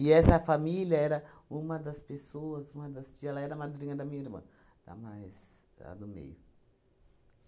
essa família era uma das pessoas, uma das tia, ela era a madrinha da minha irmã, da mais, a do meio.